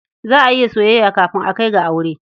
Za a yi soyayya kafin a kai ga aure.